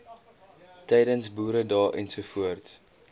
tydens boeredae ens